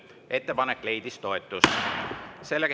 Ettepanek leidis toetust.